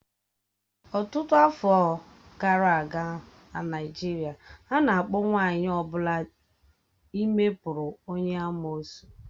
Ọtụtụ afọ gara aga n'Naịjirịa, a na-akpọ nwanyị ọ bụla ime pụrụ onye amụụsụ.